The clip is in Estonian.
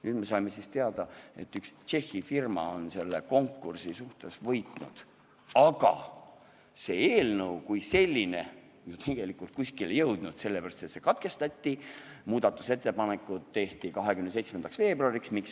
Nüüd me saime siis teada, et üks Tšehhi firma on selle konkursi võitnud, aga eelnõu kui selline pole tegelikult kuskile jõudnud, sest lugemine katkestati, muudatusettepanekud tehti 27. veebruariks.